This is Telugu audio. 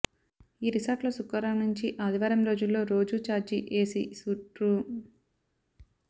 ఈ రిసార్ట్లో శుక్రవారం నుంచి ఆదివారం రోజుల్లో రోజు చార్జీ ఎసీ సూట్ రూ